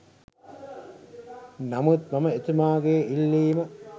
නමුත් මම එතුමාගේ ඉල්ලීම